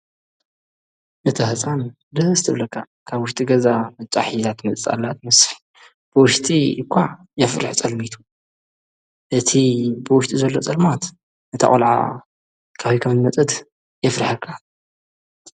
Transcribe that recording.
እታ ህፃን ደስ ትብለካ ካብ ውሽጢ ገዛ ቕጫ ሒዛ ትመፅላ ትመስል ብወሽጢ እኳ የፍርሕ ጸልሚቱ እቲ ብወሽጢ ዘሎ ጸልማት ነታ ቖልዓ ካበይ ከምዝመጸት የፍርሐካ።